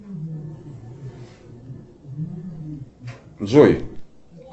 джой